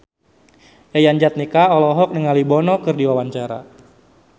Yayan Jatnika olohok ningali Bono keur diwawancara